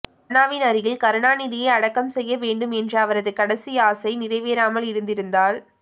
அண்ணாவின் அருகில் கருணாநிதியை அடக்கம் செய்ய வேண்டும் என்ற அவரது கடைசி ஆசை நிறைவேறாமல் இருந்திருந்தால்